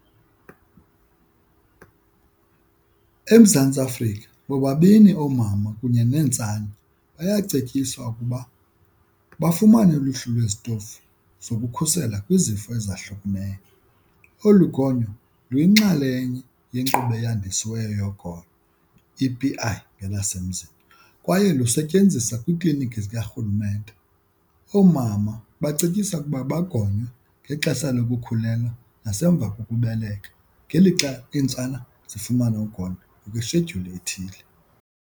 EMzantsi Afrika bobabini oomama kunye neentsana bayacetyiswa ukuba bafumane uluhlu lwezitofu zokukhusela kwizifo ezahlukeneyo. Olu ugonyo luyinxalenye yenkqubo eyandisiweyo yogonyo, E_P_I ngelasemzini, kwaye lusetyenziswa kwiikliniki zikarhulumente. Oomama bacetyiswe ukuba bagonywe ngexesha lokukhulelwa nasemva kokubeleka ngelixa iintsana zifumana ugonyo ngokweshedyuli ethile.